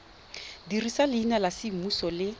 dirisa leina la semmuso le